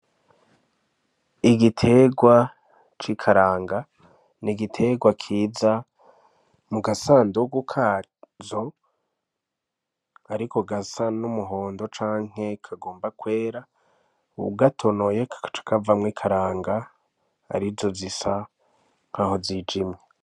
Igiterwa c'ikaranga ni igiterwa kiza mu gasandugu kazo, ariko gasa n'umuhondo canke kagomba kwera, ugatonoye kakaca kavamwo ikaranga arizo zisa nkaho zije ino.